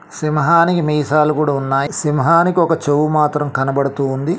సింహానికి మీసాలు కూడా ఉన్నాయి సింహానికి ఒక చెవు మాత్రం కనబడుతూ ఉంది.